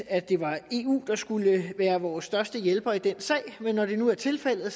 at det var eu der skulle være vores største hjælper i den sag men når det nu er tilfældet